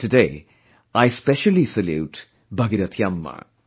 Today I specially salute Bhagirathi Amma